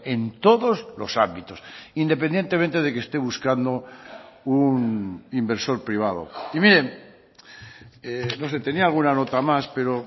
en todos los ámbitos independientemente de que esté buscando un inversor privado y miren no sé tenía alguna nota más pero